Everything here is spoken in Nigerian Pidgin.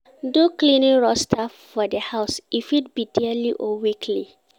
Do cleaning roaster for di house e fit be daily or weekly